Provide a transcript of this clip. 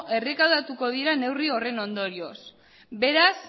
errekaudatuko dira neurri horren ondorioz beraz